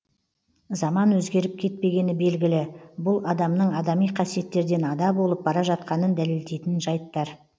заман өзгеріп кетпегені белгілі бұл адамның адами қасиеттерден ада болып бара жатқанын дәлелдейтін жайттар